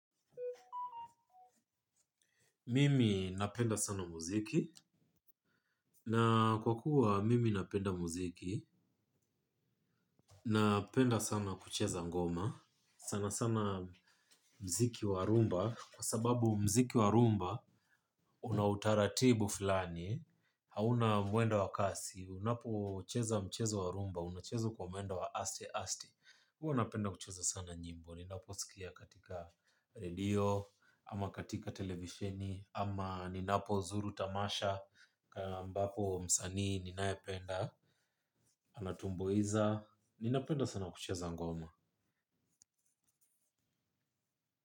Mimi napenda sana muziki, na kwa kuwa mimi napenda muziki, napenda sana kucheza ngoma, sana sana muziki wa rhumba, kwa sababu muziki wa rhumba una utaratibu fulani, hauna mwendo wa kasi, unapocheza mchezo wa rhumba, unacheza kwa mwenda wa aste-aste. Huwa napenda kucheza sana nyimbo, ninaposikia katika redio, ama katika televisheni, ama ninapozuru tamasha, kama mbapo msanii ninayependa, anatumbuiza, ninapenda sana kucheza ngoma.